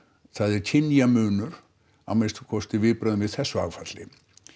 það er kynjamunur að minnsta kosti við þessu áfalli